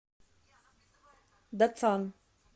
дацан